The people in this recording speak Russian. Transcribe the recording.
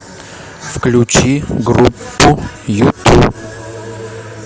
включи группу юту